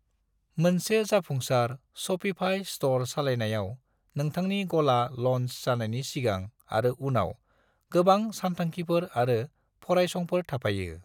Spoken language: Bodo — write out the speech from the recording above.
मोनसे जाफुंसार Shopify स्ट'र सालायनायाव नोंथांनि गला लन्च जानायनि सिगां आरो उनाव, गोबां सानथांखिफोर आरो फरायसंफोर थाफायो।